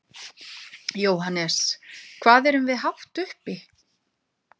Jóhannes: Hvað erum við hátt uppi?